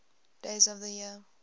days of the year